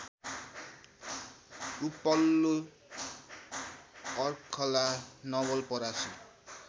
उपल्लो अर्खला नवलपरासी